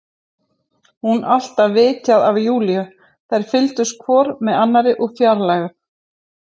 Hún alltaf vitað af Júlíu, þær fylgdust hvor með annarri úr fjarlægð.